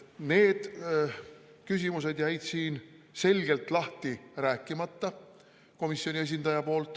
Need küsimused jäid komisjoni esindajal selgelt lahti rääkimata.